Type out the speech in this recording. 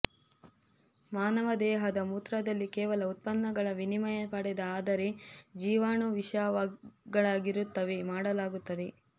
ಮಾನವ ದೇಹದ ಮೂತ್ರದಲ್ಲಿ ಕೇವಲ ಉತ್ಪನ್ನಗಳ ವಿನಿಮಯ ಪಡೆದ ಆದರೆ ಜೀವಾಣುವಿಷಗಳಾಗಿರುತ್ತವೆ ಮಾಡಲಾಗುತ್ತದೆ